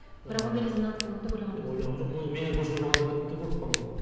бірақ ондай резонанс болады деп ойлаған жоқсың ойлаған жоқпын оны менен көшіріп алғандар тіпті көп қарауға